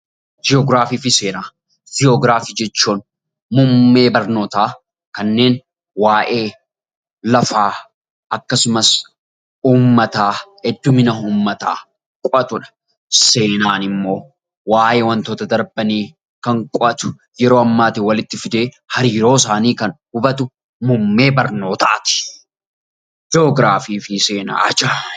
Ji'oogiraafii fi seenaa Ji'oogiraafii jechuun muummee barnoota kanneen waa'ee lafaa akkasumas uummataa heddumina uummataa qo'atudha. Seenaan immoo waa'ee waantota darbanii kan qo'atu yeroo ammaatiin walitti fidee hariiroo isaanii kan hubatu muummee barnootati. Ji'oogiraafii fi seenaan ajaaiba!